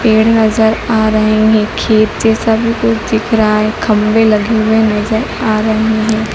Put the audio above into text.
पेड़ नजर आ रहे हैं खेत जैसा भी कुछ दिख रहा है खंभे लगे हुए नजर आ रहे हैं।